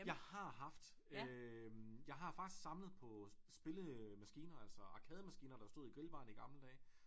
Jeg har haft øh jeg har faktisk samlet på spillemaskiner altså arkademaskiner der stod i grillbarene i gamle dage